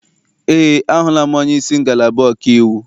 Eé, ahụla m onyeisi ngalaba ọkaiwu.